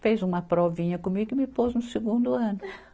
fez uma provinha comigo e me pôs no segundo ano.